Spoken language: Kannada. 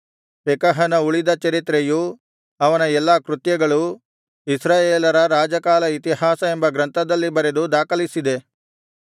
ಪೆಕಹನ ಉಳಿದ ಚರಿತ್ರೆಯೂ ಅವನ ಎಲ್ಲಾ ಕೃತ್ಯಗಳೂ ಇಸ್ರಾಯೇಲರ ರಾಜಕಾಲ ಇತಿಹಾಸ ಎಂಬ ಗ್ರಂಥದಲ್ಲಿ ಬರೆದು ದಾಖಲಿಸಿದೆ